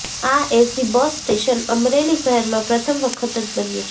આ AC bus station Amreli શહેરમાં પ્રથમ વખત જ બન્યું છે